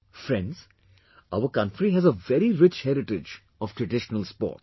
Friends, our country has a very rich heritage of traditional sports